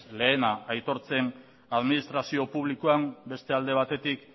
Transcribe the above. lehena aitortzen administrazio publikoan beste alde batetik